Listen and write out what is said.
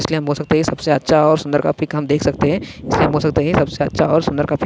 इसलिये हम बोल सकते है सबसे अच्छा और सुंदर का पीक हम देख सकते हैं। इसलिये हम बोल सकते है सबसे अच्छा और सुंदर का पीक --